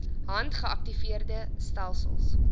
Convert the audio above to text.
hand geaktiveerde stelsels